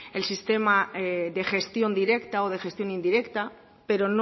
el sistema de gestión directa o de gestión indirecta pero